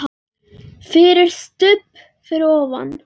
FYRIR STUBB fyrir ofan.